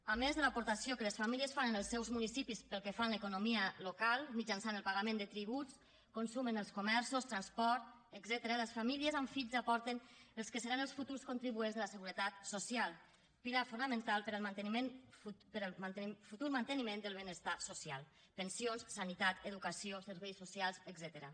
a més de l’aportació que les famílies fan en els seus municipis pel que fa a l’economia local mitjançant el pagament de tributs consum en els comerços transport etcètera les famílies amb fills aporten els que seran els futurs contribuents de la seguretat social pilar fonamental per al futur manteniment del benestar social pensions sanitat educació serveis socials etcètera